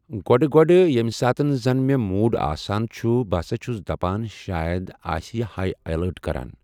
گۄڈٕ گۄڈٕ ییٚمہِ ساتہٕ زَن مےٚ موٗڈ آسان چھُ بہٕ ہَسا چھُس دَپان شاید آسہِ یہِ ہاےلایٹ کَران